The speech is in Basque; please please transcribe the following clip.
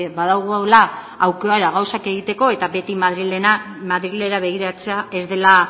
badugula aukera gauzak egiteko eta beti madrilera begiratzea ez dela